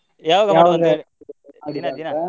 ಯಾವಾಗ .